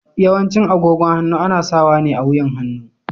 Yawancin agogon hannu ana sawa ne a wuyan hannu.